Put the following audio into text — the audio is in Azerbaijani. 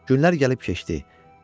Günlər gəlib keçdi.